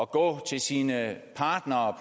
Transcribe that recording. gå til sine partnere